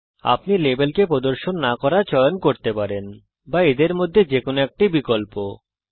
আপনি লেবেলকে প্রদর্শন না করা চয়ন করতে পারেন অথবা এর মধ্যে থেকে যে কোনো একটি বিকল্প প্রদর্শন করতে পারেন